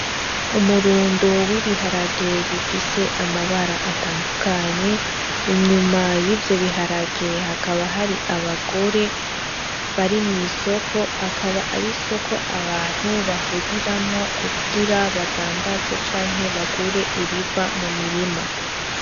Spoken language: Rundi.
Umurundo w'ibiharage bifise amabara atandukanye, inyuma y'ivyo biharage hakaba hari abagore bari mw'isoko. Akaba ari isoko abantu bahuriramwo badandaze canke bagure ibiva mumirima.